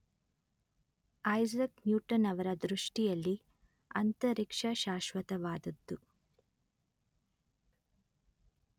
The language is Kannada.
ಐಸಾಕ್ ನ್ಯುಟನ್ ಅವರ ದೃಷ್ಟಿಯಲ್ಲಿ ಅಂತರಿಕ್ಷ ಶಾಶ್ವತವಾದುದ್ದು